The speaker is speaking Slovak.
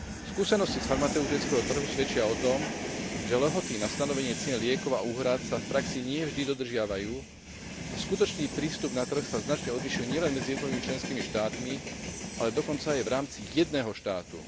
Skúsenosti z farmaceutického trhu svedčia o tom, že lehoty na stanovenie cien liekov a úhrad sa v praxi nie vždy dodržiavajú a skutočný prístup na trh sa značne odlišuje nielen medzi jednotlivými členskými štátmi, ale dokonca aj v rámci jedného štátu.